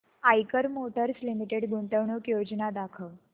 Eicher motors limited गुंतवणूक योजना दाखव